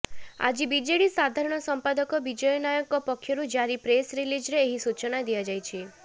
ଆଜି ବିଜେଡି ସାଧାରଣ ସମ୍ପାଦକ ବିଜୟ ନାୟକଙ୍କ ପକ୍ଷରୁ ଜାରି ପ୍ରେସ୍ ରିଲିଜରେ ଏହି ସୂଚନା ଦିଆଯାଇଛି